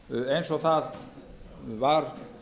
eins og það var